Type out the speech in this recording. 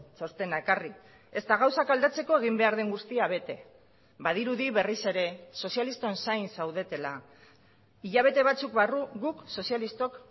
txostena ekarri ezta gauzak aldatzeko egin behar den guztia bete badirudi berriz ere sozialisten zain zaudetela hilabete batzuk barru guk sozialistok